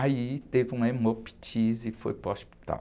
Aí teve uma hemoptise e foi para o hospital.